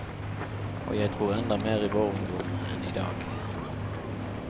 Og jeg tror enda mer i vår ungdom, enn idag.